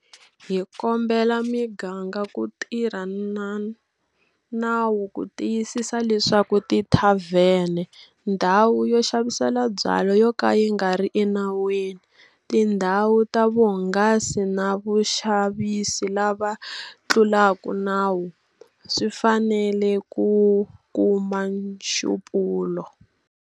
Hi kombela miganga ku tirha na nawu ku tiyisisa leswaku tithavhene, ndhawu yo xavisela byala yo ka yi nga ri enawini, tindhawu ta vuhangasi na vaxavisi lava tlulaka nawu swi fanele ku kuma nxupulo.